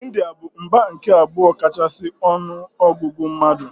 India bụ mba nke abụọ kachasị ọnụ ọgụgụ mmadụ.